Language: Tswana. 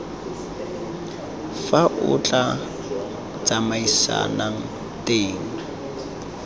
fa lo tla tsamaisanang teng